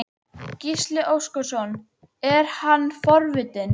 Gísli Óskarsson: Er hann forvitinn?